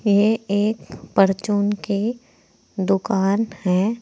ये एक परचून की दुकान है।